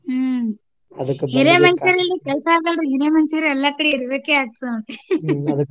ಹಾ ಹಿರೇ ಮನುಷಾರ್ ಇಲ್ದೆ ಕೆಲಸ ಆಗಲ್ರಿ ಹಿರೇ ಮನಷಾರ್ ಎಲ್ಲಾ ಕಡೆ ಇರ್ಬೇಕೇ ಆಗ್ತದ.